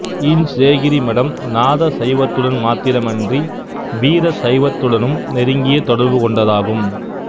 இஞ்சேகிரி மடம் நாத சைவத்துடன் மாத்திரமன்றி வீரசைவத்துடனும் நெருங்கிய தொடர்பு கொண்டதாகும்